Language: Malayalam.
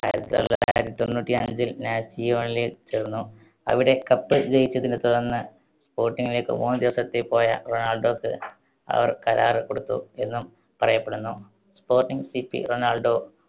ആയിരത്തിത്തിതൊള്ളായിരത്തി തൊണ്ണൂറ്റിയഞ്ചിൽ നാസിയോൺലിൽ ചേർന്നു. അവിടെ cup ജയിച്ചതിനെ തുടർന്ന് sporting ലേക്ക് മൂന്ന് ദിവസത്തേക്ക് പോയ റൊണാൾഡോക്ക് അവർ കരാറ് കൊടുത്തു എന്നും പറയപ്പെടുന്നു. sporting city Ronaldo